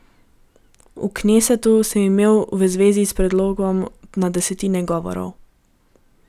V knesetu sem imel v zvezi s predlogom na desetine govorov.